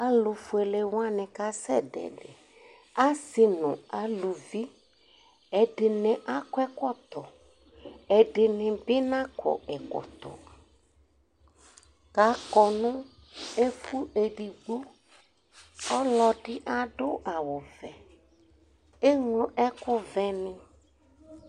Alʋfuele wanɩ kasɛdʋ ɛdɩ Asɩ nʋ aluvi, ɛdɩnɩ akɔ ɛkɔtɔ Ɛdɩnɩ bɩ nakɔ ɛkɔtɔ kʋ akɔ nʋ ɛfʋ edigbo Ɔlɔdɩ adʋ awʋvɛ, eŋlo ɛkʋvɛnɩ